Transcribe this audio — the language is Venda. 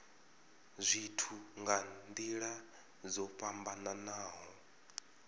zwithu nga nila dzo fhambanaho